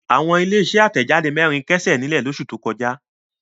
Àwọn ilé-iṣẹ́ àtẹ̀jáde mẹ́rin kẹ́sẹ̀ nílẹ̀ lóṣù tó kọjá.